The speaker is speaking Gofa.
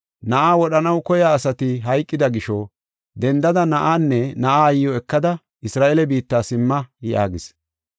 “Na7aa wodhanaw koyiya asati hayqida gisho, dendada na7aanne na7aa aayiw ekada Isra7eele biitta simma” yaagis.